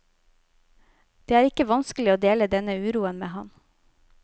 Det er ikke vanskelig å dele denne uroen med ham.